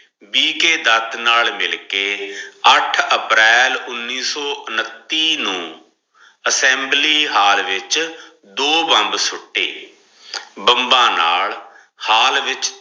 ਵੀ K Dutt ਨਾਲ ਮਿਲ ਕੇ ਅੱਠ ਅਪ੍ਰੈਲ ਉਨੀਸ ਸੋ ਉਨਤੀ ਨੂ ਅਸ੍ਸੇਮ੍ਬ੍ਲ੍ਯ ਹਾਲ ਵਿਚ ਦੋ ਬਾਮਬ ਸੁਤੇ ਬਾਮਬਾ ਨਾਲ ਹਾਲ ਵਿਚ